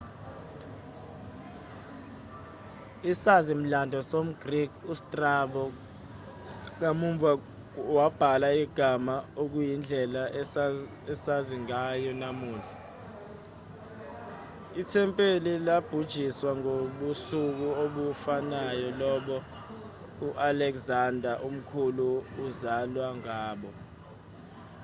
isazi-mlando somgreki ustrabo kamuva wabhala igama okuyindlela esazi ngayo namuhla ithempeli labhujiswa ngobusuku obufanayo lobo u-alexander omkhulu azalwa ngabo